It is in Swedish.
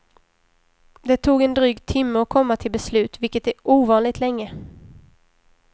Det tog en dryg timme att komma till beslut, vilket är ovanligt länge.